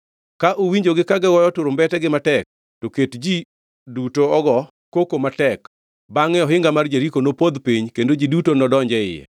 Ka uwinjogi ka gigoyo turumbetegi matek, to ket ji duto ogo koko matek; bangʼe ohinga mar Jeriko nopodh piny kendo ji duto nodonj e iye.”